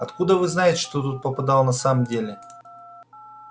откуда вы знаете что туда попадало на самом деле